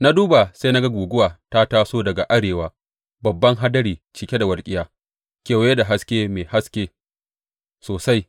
Na duba, sai na ga guguwa ta taso daga arewa babban hadari cike da walƙiya kewaye da haske mai haske sosai.